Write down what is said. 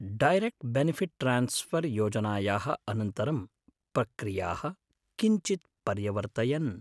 Direct benefit transfer योजनायाः अनन्तरं प्रक्रियाः किञ्चित्‌ पर्यवर्तयन्‌।